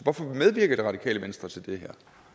hvorfor medvirker det radikale venstre til det